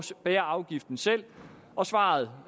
bære afgiften selv og svaret